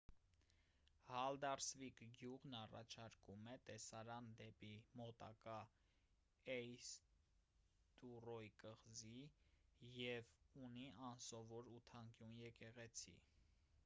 հալդարսվիկ գյուղն առաջարկում է տեսարան դեպի մոտակա էյստուրոյ կղզի և ունի անսովոր ութանկյուն եկեղեցի